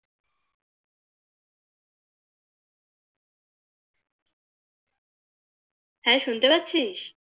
হ্যাঁ শুনতে পারছিস